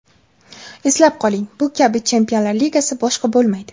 Eslab qoling, bu kabi Chempionlar Ligasi boshqa bo‘lmaydi.